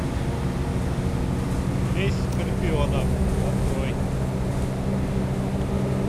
песнь скорпионов открой